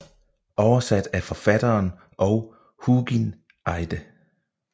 Oversat af forfatteren og Hugin Eide